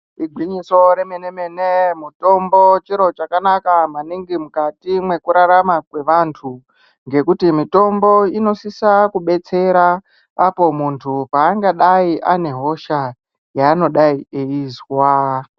Igwinyiso remenemene mutombo chiro chakanaka maningi mukati mwekurarama kwevantu ngekuti mitombo inosisa kubetsera apo muntu paangadai anehosha yanodai eizwa .